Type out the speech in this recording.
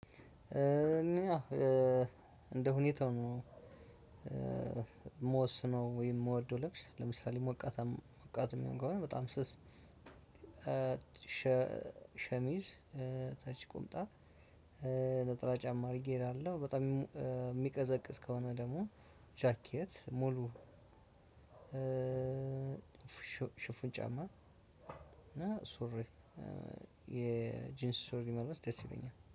እኔ እንደ ሁኔታው ነው የምወስነው ወይም የምወደው ለብስ ለምሳሌ ሞቃታማ ሞቃት የሚሆነው በጣም ስስ ሸምዝ ተች ቁምጣ ነጠላ ጫማ አድረገ ይሄዳለው በጣም ምቀዘቅዝ ከሆነ ደግሞ ጃኬት ሙሉ ሽፉን ጫማ ሱሪ የጂንስ ሱሪ መልበስ ደስ ይለኛል።